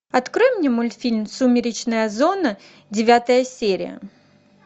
открой мне мультфильм сумеречная зона девятая серия